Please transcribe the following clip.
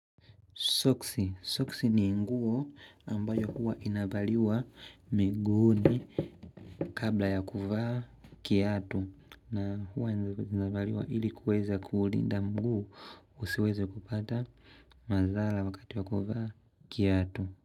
Soksi ni nguo ambayo huwa inavaliwa miguuni kabla ya kuvaa kiatu. Na huwa inavaliwa ili kuweza kuulinda mguu usiweze kupata madhara wakati wa kuvaa kiatu.